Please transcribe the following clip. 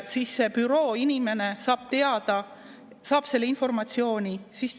Siis see bürooinimene saab teada, saab selle informatsiooni.